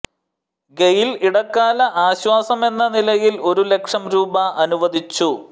ഗെയിൽ ഇടക്കാല ആശ്വാസമെന്ന നിലയിൽ ഒരു ലക്ഷം രൂപ അനുവദിച്ചു